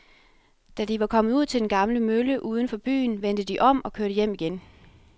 Da de var kommet ud til den gamle mølle uden for byen, vendte de om og kørte hjem igen.